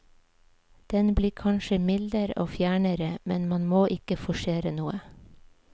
Den blir kanskje mildere og fjernere, men man må ikke forsere noe.